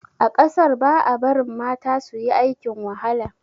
A kasar ba a barin mata suyi aikin wahala.